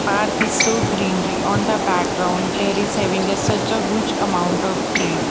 park is soo greenery on the background there is having a set of good amount of tree.